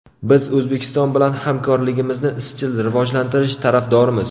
Biz O‘zbekiston bilan hamkorligimizni izchil rivojlantirish tarafdorimiz.